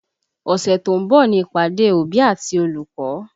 Ọ̀sẹ̀ tó ń bọ̀ ni ìpàdé òbí àti olùkọ́